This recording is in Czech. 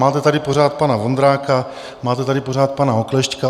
Máte tady pořád pana Vondráka, máte tady pořád pana Oklešťka.